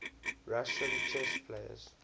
russian chess players